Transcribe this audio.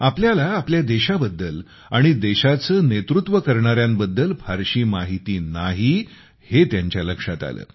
आपल्याला आपल्या देशाबद्दल आणि देशाचे नेतृत्व करणाऱ्यांबद्दल फारशी माहिती नाही हे त्यांच्या लक्षात आले